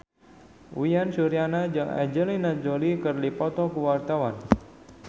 Uyan Suryana jeung Angelina Jolie keur dipoto ku wartawan